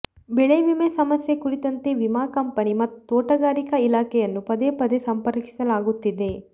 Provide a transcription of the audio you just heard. ಬೆಳೆವಿಮೆ ಸಮಸ್ಯೆ ಕುರಿತಂತೆ ವಿಮಾ ಕಂಪನಿ ಮತ್ತು ತೋಟಗಾರಿಕಾ ಇಲಾಖೆಯನ್ನು ಪದೇ ಪದೇ ಸಂಪರ್ಕಿಸಲಾಗುತ್ತಿದೆ